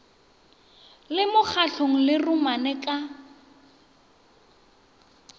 le mokgatlong le romane ka